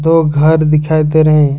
दो घर दिखाई दे रहे--